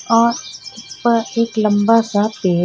और ऊपर एक लंबासा